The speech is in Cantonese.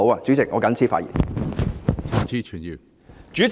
主席，我謹此陳辭。